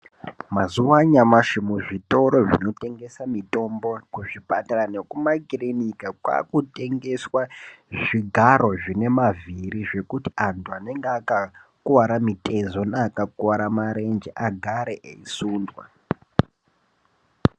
Mazuwa anyamashi muzvitoro zvinotengesa mutombo kuzvipatara nekumakirinika kwakutengeswa zvigaro zvine mavhiri zvekuti antu anenga akakuwara mutezo neakakuwara marenje agare eisundwa.